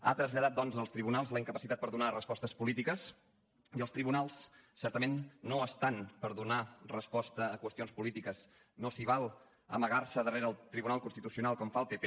ha traslladat doncs als tribunals la incapacitat per donar respostes polítiques i els tribunals certament no estan per donar resposta a qüestions polítiques no s’hi val amagar se darrere el tribunal constitucional com fa el pp